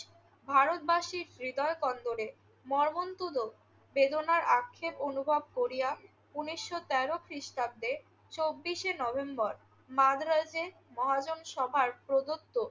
ভারতবাসীর হৃদয়কন্দরে মর্মন্তুদ বেদনার আক্ষেপ অনুভব করিয়া উনিশশো তেরো খ্রিষ্টাব্দে চব্বিশে নভেম্বর মাদ্রাজে মহাজন সভার প্রদত্ত